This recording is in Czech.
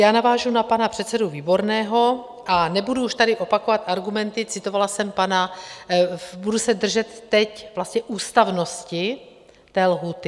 Já navážu na pana předsedu Výborného a nebudu už tady opakovat argumenty, citovala jsem pana... budu se držet teď vlastně ústavnosti té lhůty.